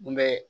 N bɛ